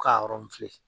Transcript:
K'a